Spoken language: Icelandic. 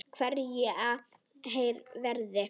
Hverjir verða?